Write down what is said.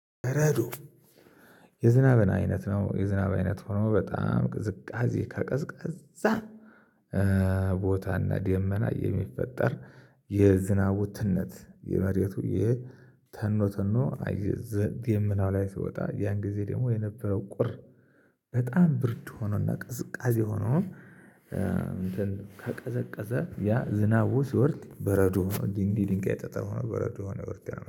በረዶ የዝናብ አይነት ነው። የዝናብ አይነት ሆኖ በጣም ቅዝቃዜ ከቀዝቃዛ። ቦታና ደመና የሚፈጠር የዝናቡ ትነት የመሬቱ የተኖ ተኖ ዘንድ ደናው ላይ ሲወጣ ያን ጊዜ ደግሞ የነበረው ቁር። በጣም ብርድ ሆኖና ቅዝቃዜ ሆኖ። እንትን ከቀዘቀዘ ያ ዝናቡ ሲወርድ በረዶ ዲንዲ ዲንጋይ የጠጠሩ በረዶ ሆነ ወርቅ